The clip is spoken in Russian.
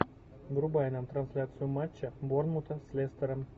врубай нам трансляцию матча борнмута с лестером